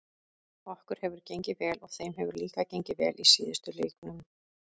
Okkur hefur gengið vel og þeim hefur líka gengið vel í síðustu leiknum.